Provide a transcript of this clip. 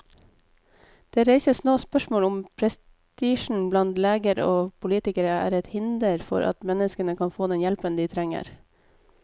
Det reises nå spørsmål om prestisjen blant leger og politikere er et hinder for at mennesker kan få den hjelpen de trenger.